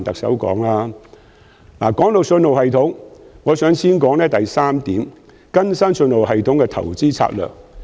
在信號系統方面，我想先談談原議案第三點，即"更新信號系統的投資策略。